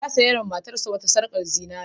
Ya saiwa matarsa wata sarƙar zinare.